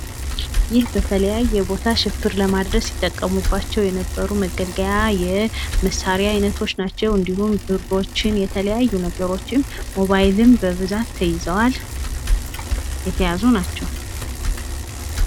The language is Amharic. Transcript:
ይህ በተለያየ ቦታ ሽብር ለማድረስ ሲጠቀሙባቸው የነበሩ መገልገያ የመሳሪያ አይነቶች ናቸው። እንዲሁም ብሮችን የተለያየ ነገሮችን ፣ ሞባይልም በብዛት ተይዘዋል። የተያዙ ናቸው።